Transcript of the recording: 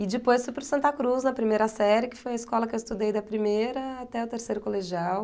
E depois fui para o Santa Cruz na primeira série, que foi a escola que eu estudei da primeira até o terceiro colegial.